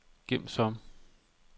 gem som